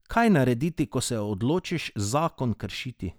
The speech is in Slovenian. Kaj narediti, ko se odločiš zakon kršiti?